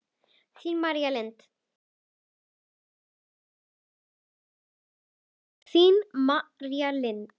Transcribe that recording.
Þín, María Lind.